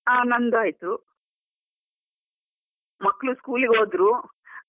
ಹ ನಂದು ಆಯ್ತು, ಮಕ್ಳು school ಗೆ ಹೋದ್ರು.